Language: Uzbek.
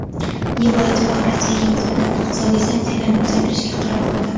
Yevroittifoq Rossiyaga nisbatan iqtisodiy sanksiyalarni uzaytirishga qaror qildi.